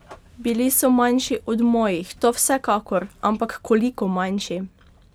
Bili so manjši od mojih, to vsekakor, ampak koliko manjši?